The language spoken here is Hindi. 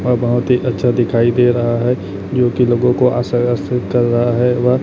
वह बहोत ही अच्छा दिखाई दे रहा है क्योंकि लोगों को आशा आश्रित कर रहा है वह --